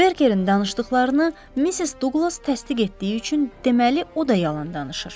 Berkerin danışdıqlarını Missis Duqlas təsdiq etdiyi üçün, deməli o da yalan danışır.